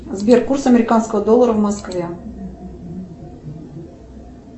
сбер курс американского доллара в москве